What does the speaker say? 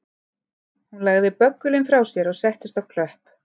Hún lagði böggulinn frá sér og settist á klöpp